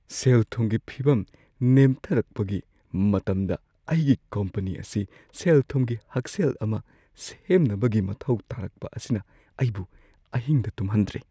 ꯁꯦꯜ-ꯊꯨꯝꯒꯤ ꯐꯤꯚꯝ ꯅꯦꯝꯊꯔꯛꯄꯒꯤ ꯃꯇꯝꯗ ꯑꯩꯒꯤ ꯀꯝꯄꯅꯤ ꯑꯁꯤ ꯁꯦꯜꯊꯨꯝꯒꯤ ꯍꯛꯁꯦꯜ ꯑꯃ ꯁꯦꯝꯅꯕꯒꯤ ꯃꯊꯧ ꯇꯥꯔꯛꯄ ꯑꯁꯤꯅ ꯑꯩꯕꯨ ꯑꯍꯤꯡꯗ ꯇꯨꯝꯍꯟꯗ꯭ꯔꯦ꯫